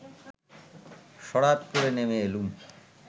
সড়াৎ করে নেমে এলুম